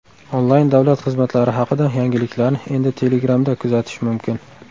Onlayn davlat xizmatlari haqida yangiliklarni endi Telegram’da kuzatish mumkin.